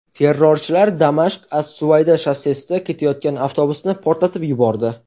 Terrorchilar Damashq–as-Suvayda shossesida ketayotgan avtobusni portlatib yubordi.